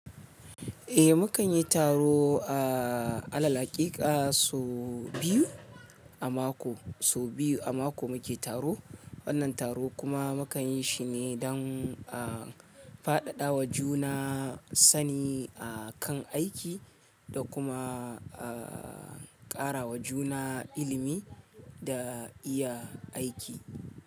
Eh, mu kan yi taro a alal hakika sau biyu a mako, sau biyu a mako mu ke taro. Wannan taro kuma mu kan yi shi ne don, ah, fadada wa juna sani a kan aiki da kuma, ah, karawa juna ilimi da iya aiki.